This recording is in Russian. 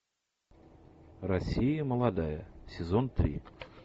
россия молодая сезон три